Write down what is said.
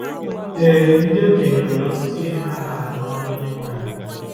Ee, ndị okenye nwere ọtụtụ ihe ha na-arụ n’ọrụ Onyenwe anyị.